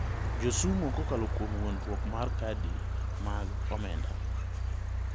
josumo kokalo kuom wuondoruok mar kadi mag omenda.